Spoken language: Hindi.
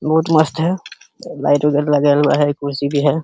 बोहोत मस्त है। लाइट वगैरा लगा हुआ है। कुर्सी भी है।